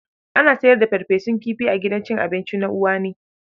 Ana sayar da farfesun kifi a gidan cin abinci na Uwani.